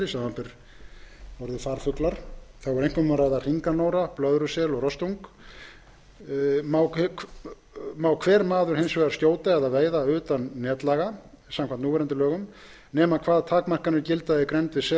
samanber orðið farfuglar má hver maður hins vegar skjóta eða veiða utan netlaga samkvæmt núgildandi lögum nema hvað takmarkanir gilda í grennd við